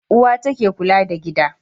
Uwa ta ke kula da gida.